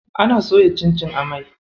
Ana soya cincin a mai.